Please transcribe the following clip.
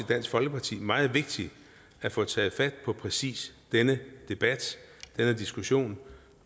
dansk folkeparti meget vigtigt at få taget fat på præcis denne debat denne diskussion